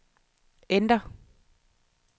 enter